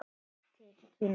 Fyrst til Kína.